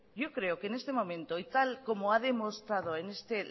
yo creo que en este momento y tal como ha demostrado en este